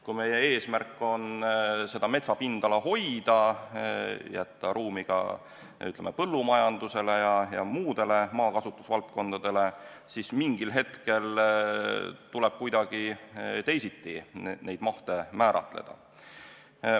Kui meie eesmärk on seda metsapindala hoida, jätta ruumi ka põllumajandusele ja muudele maakasutusvaldkondadele, siis mingil hetkel tuleb neid mahte kuidagi teisiti määratleda.